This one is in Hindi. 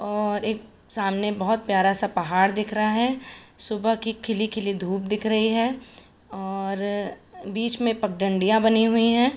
और एक सामने बहोत प्यारा सा पहाड़ दिख रहा है। सुबह की खिली-खिली धूप दिख रही हैं और बीच में पगडंडियां बनी हुई हैं।